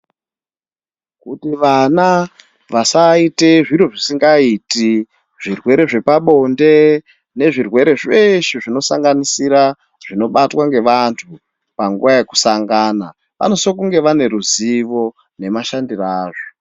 Kuti vana vasaite zviro zvisingaiti zvirwere zvepabonde nezvirwere zveshe zvinosanganisira zvinobatwa ngevanhu panguwa yekusangana vanosise kunge vane ruzivo nemashandire azvo.